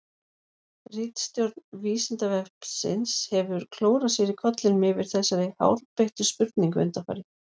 Ritstjórn Vísindavefsins hefur klórað sér í kollinum yfir þessari hárbeittu spurningu undanfarið.